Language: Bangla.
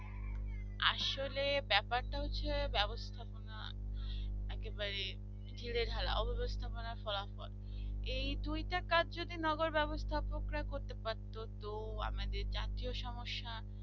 আসলে ব্যাপারটা হচ্ছে ব্যবস্থাপনা একেবারে ঢিলেঢালা ও ব্যবস্থাপনা ফলাফল। এই দুইটা কাজ যদি নেবার ব্যবস্থা লোকেরা করতে পারত তো আমাদের জাতীয় সমস্যা